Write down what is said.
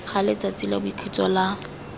ga letsatsi la boikhutso la